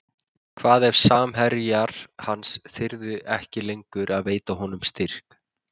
Hvað ef samherjar hans þyrði ekki lengur að veita honum styrk?